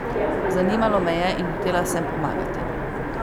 Zanimalo me je in hotela sem pomagati.